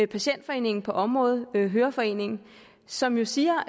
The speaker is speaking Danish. patientforeningen på området høreforeningen som jo siger